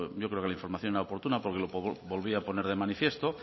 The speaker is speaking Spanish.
yo creo que la información era oportuna porque lo volví a poner de manifiesto